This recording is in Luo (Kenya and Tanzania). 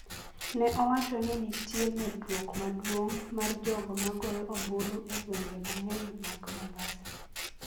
ne owacho ni nitie medruok maduong’ mar jogo ma goyo ombulu e gwenge mang’eny mag Mombasa,